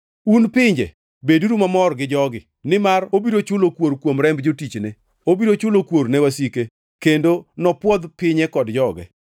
Un pinje, beduru mamor gi jogi, nimar obiro chulo kuor kuom remb jotichne; obiro chulo kuor ne wasike kendo nopwodh pinye kod joge.